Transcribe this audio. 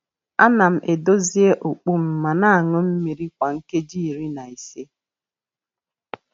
A na m edozie okpu m ma na aṅụ mmiri kwa nkeji iri na ise.